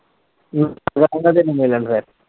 ਕਿੰਨੇ ਦਿਨ ਰਹੇ